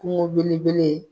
Kungo belebele.